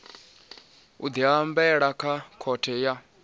u diambela kha khothe ya